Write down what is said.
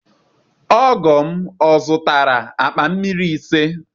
Ogo m ó zuụtara akpa mmiri ise?